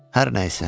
Hər nəysə.